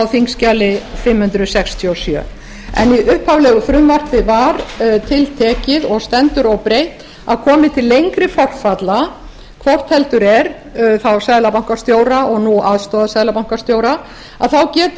þingskjali fimm hundruð sextíu og sjö en í upphaflegu frumvarpi var tiltekið og stendur óbreytt að komi til lengri forfalla hvort heldur er þá seðlabankastjóra og nú aðstoðarseðlabankastjóra þá geti